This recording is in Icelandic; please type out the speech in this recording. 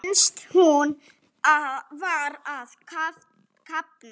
Finnst hún vera að kafna.